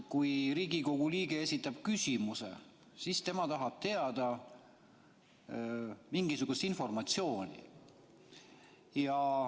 Kui Riigikogu liige esitab küsimuse, siis tema tahab saada mingisugust informatsiooni.